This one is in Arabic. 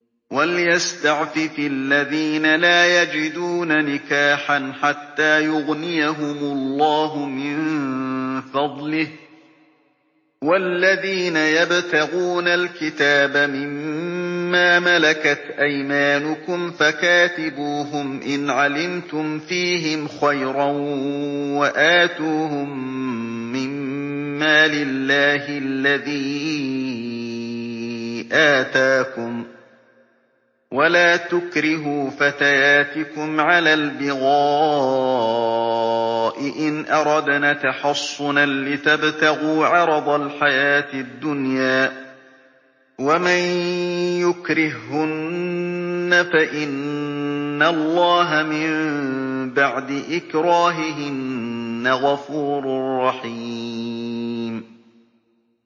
وَلْيَسْتَعْفِفِ الَّذِينَ لَا يَجِدُونَ نِكَاحًا حَتَّىٰ يُغْنِيَهُمُ اللَّهُ مِن فَضْلِهِ ۗ وَالَّذِينَ يَبْتَغُونَ الْكِتَابَ مِمَّا مَلَكَتْ أَيْمَانُكُمْ فَكَاتِبُوهُمْ إِنْ عَلِمْتُمْ فِيهِمْ خَيْرًا ۖ وَآتُوهُم مِّن مَّالِ اللَّهِ الَّذِي آتَاكُمْ ۚ وَلَا تُكْرِهُوا فَتَيَاتِكُمْ عَلَى الْبِغَاءِ إِنْ أَرَدْنَ تَحَصُّنًا لِّتَبْتَغُوا عَرَضَ الْحَيَاةِ الدُّنْيَا ۚ وَمَن يُكْرِههُّنَّ فَإِنَّ اللَّهَ مِن بَعْدِ إِكْرَاهِهِنَّ غَفُورٌ رَّحِيمٌ